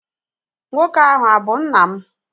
Nwoke ahụ abụ nna m?